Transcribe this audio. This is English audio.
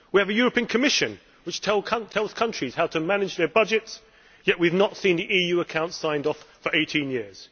We have a European Commission which tells countries how to manage their budgets, yet we have not seen the EU accounts signed off for eighteen years.